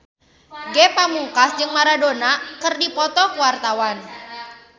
Ge Pamungkas jeung Maradona keur dipoto ku wartawan